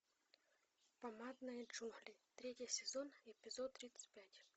помадные джунгли третий сезон эпизод тридцать пять